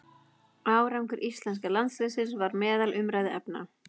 Árangur íslenska landsliðsins var meðal umræðuefna.